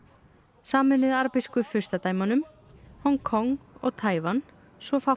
Sameinuðu arabísku furstadæmunum Hong Kong og Taívan svo fátt